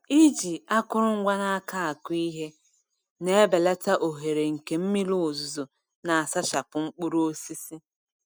Iji akụrụngwa n’aka akụ ihe na-ebelata ohere nke mmiri ozuzo na-asachapụ mkpụrụ osisi.